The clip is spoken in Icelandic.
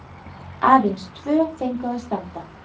Aðeins tvö fengu að standa.